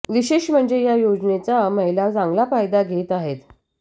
विशेष म्हणजे या योजनेचा महिला चांगला फायदा घेत आहेत